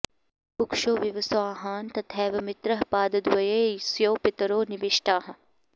कुक्षौ विवस्वांह्न तथैव मित्रः पादद्वये स्युः पितरो निविष्टाः